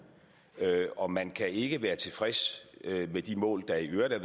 og man kan ikke være tilfreds med de mål der i øvrigt er